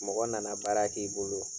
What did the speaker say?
Mɔgɔ na na baara k'i bolo.